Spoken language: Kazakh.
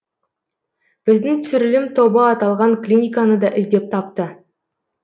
біздің түсірілім тобы аталған клиниканы да іздеп тапты